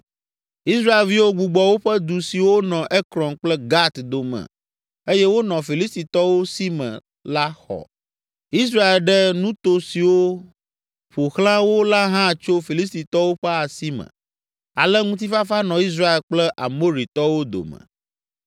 Israelviwo gbugbɔ woƒe du siwo nɔ Ekron kple Gat dome eye wonɔ Filistitɔwo si me la xɔ. Israel ɖe nuto siwo ƒo xlã wo la hã tso Filistitɔwo ƒe asi me. Ale ŋutifafa nɔ Israel kple Amoritɔwo dome.